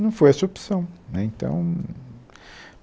Não foi essa a opção né então...